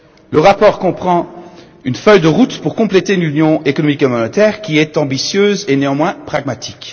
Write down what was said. Le rapport comprend une feuille de route pour réaliser l'union économique et monétaire qui est ambitieuse et néanmoins pragmatique.